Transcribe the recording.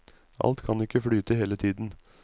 Alt kan ikke flyte hele tiden.